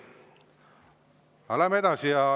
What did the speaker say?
Aga läheme edasi.